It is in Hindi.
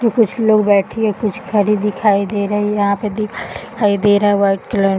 तो कुछ लोग बैठी हैं कुछ खड़ी दिखाई दे रही हैं। यहाँ पे दीवाल दिखाई दे रहा है। White colour --